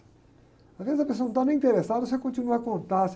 Às vezes a pessoa não está nem interessada, você continua a contar.